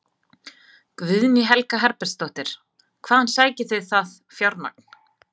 Guðný Helga Herbertsdóttir: Hvaðan sækið þið það fjármagn?